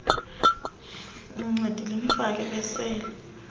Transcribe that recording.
nincedile nifike besele